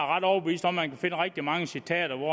ret overbevist om at man kan finde rigtig mange citater hvor